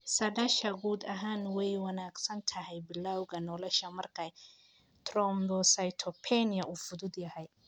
Saadaasha guud ahaan way wanaagsan tahay bilawga nolosha marka thrombocytopenia uu fudud yahay.